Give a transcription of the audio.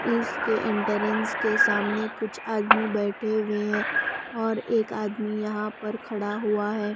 इसके एंट्रेंस के सामने कुछ आदमी बैठे हुए हैं और एक आदमी यहाँ पर खड़ा हुआ है।